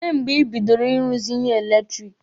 Olee mgbe ị bidoro Ị ruzi ihe eletiriki?